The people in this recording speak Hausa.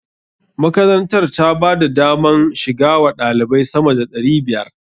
Makarantar ta ba da daman shiga wa ɗalibai sama da ɗari biyar.